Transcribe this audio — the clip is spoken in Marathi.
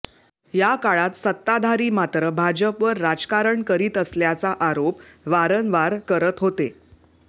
या काळात सत्ताधारी मात्र भाजपवर राजकारण करीत असल्याचा आरोप वारंवार करत होते